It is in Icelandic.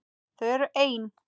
Þau eru ein.